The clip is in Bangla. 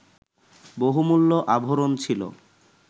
বহুমূল্য আভরণ ছিল